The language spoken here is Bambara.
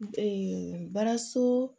baaraso